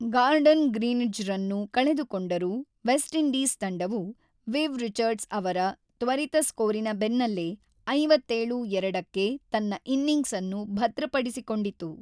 Garden ಗ್ರೀನಿಡ್ಜ್‌ರನ್ನು ಕಳೆದುಕೊಂಡರೂ, West Indies ತಂಡವು, ವಿವ್ ರಿಚರ್ಡ್ಸ್ ಅವರ ತ್ವರಿತ ಸ್ಕೋರಿನ ಬೆನ್ನಲ್ಲೇ ೫೭/೨ಕ್ಕೆ ತನ್ನ ಇನ್ನಿಂಗ್ಸ್ಅನ್ನು ಭದ್ರಪಡಿಸಿಕೊಂಡಿತು.